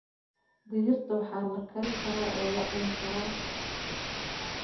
Digirta waxaa la kari karaa oo la cuni karaa.